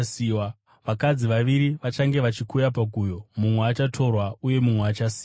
Vakadzi vaviri vachange vachikuya paguyo, mumwe achatorwa uye mumwe achasiyiwa.